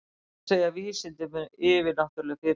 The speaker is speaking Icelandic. Hvað segja vísindin um yfirnáttúrleg fyrirbæri?